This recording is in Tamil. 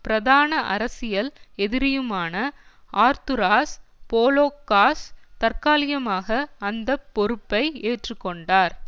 பிரதான அரசியல் எதிரியுமான ஆர்துராஸ் போலோக்காஸ் தற்காலிகமாக அந்த பொறுப்பை ஏற்றுகொண்டார்